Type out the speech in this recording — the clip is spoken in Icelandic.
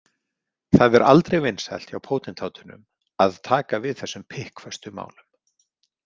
Það er aldrei vinsælt hjá pótintátunum að taka við þessum pikkföstu málum.